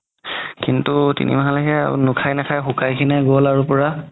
কিন্তু তিনি মাহলৈকে নাখাই নাখাই শুকাই খিনাই গ'ল আৰু পুৰা